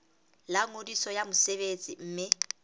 la ngodiso ya mosebetsi mme